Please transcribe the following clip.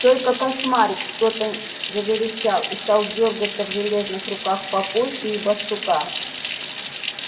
только кошмарик что-то заверещал и стал дёргаться в железных руках папульки и барсука